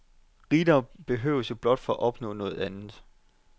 Rigdom behøves jo blot for at opnå noget andet.